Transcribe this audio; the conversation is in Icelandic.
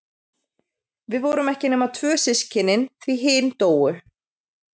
Við vorum ekki nema tvö systkinin, því hin dóu.